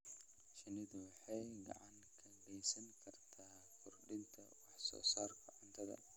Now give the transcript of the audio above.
Shinnidu waxay gacan ka geysan kartaa kordhinta wax soo saarka cuntada.